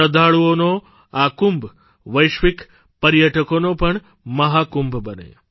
શ્રદ્ધાળુઓનો આ કુંભ વૈશ્વિક પર્યટકોનો પણ મહાકુંભ બને